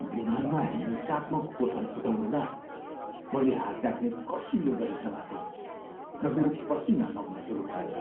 विमानमा हिंसात्मक उथलपुथल हुँदा मैले हात राख्ने कसिलो गरी समातेँ र मेरो पसिना बग्न सुरु भयो।